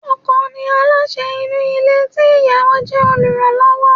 Ọkọ̀ ni aláṣẹ inú ilé tí ìyàwó jẹ́ oluranlowo.